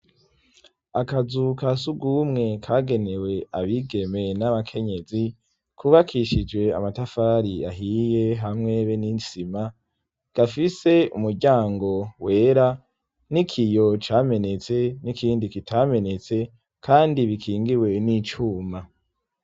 Akazu ka sugumwe kagenewe abigeme n'abakenyezi kubakishije amatafari ahiye hamwe be n'insima gafise umuryango wera n'ikiyo camenetse n'ikindi kitamenetse kandi bikingiwe n'icuma.